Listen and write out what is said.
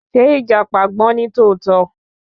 Ṣé ìjàpá gbọ́n nítòótó?